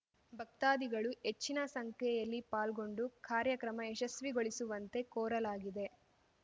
ಭಕ್ತಾದಿಗಳು ಹೆಚ್ಚಿನ ಸಂಖ್ಯೆಯಲ್ಲಿ ಪಾಲ್ಗೊಂಡು ಕಾರ್ಯಕ್ರಮ ಯಶಸ್ವಿಗೊಳಿಸುವಂತೆ ಕೋರಲಾಗಿದೆ